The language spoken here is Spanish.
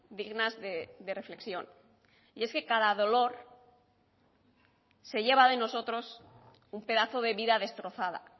dignas de reflexión y es que cada dolor se lleva de nosotros un pedazo de vida destrozada